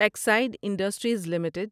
oxide industries limited